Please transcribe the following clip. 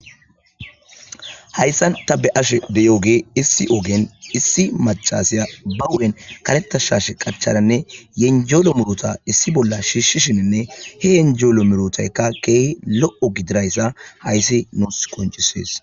Hayssan ta be ashe deyooge issi ogen issi machasiya ba wu'en kaletta shaashe qacharanne yenjelo murota issi bolla shiishshishininne he yenjeolo murotaykka keehi lo'o gidirayssa hayssi nuus koncisees